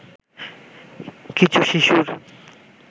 কিছু শিশুর